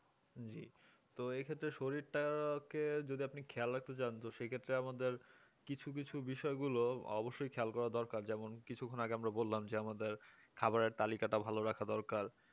জি তো এই ক্ষেত্রে শরীরটাকে যদি আপনি খেয়াল রাখতে চান তো সেক্ষেত্রে আমাদের কিছু কিছু বিষয় গুলো অবশ্যই খেয়াল করা দরকার যেমন কিছুক্ষন আগে আমরা বললাম যে আমাদের খাবারের তালিকাটা ভালো রাখা দরকার